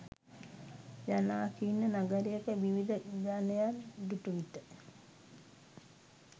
ජනාකීර්ණ නගරයක විවිධ ජනයන් දුටු විට